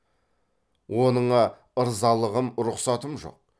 оныңа ырзалығым рұқсатым жоқ